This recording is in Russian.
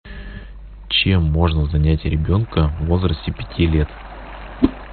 чем можно занять ребенка в возрасте пяти лет